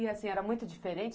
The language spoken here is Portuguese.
E assim, era muito diferente?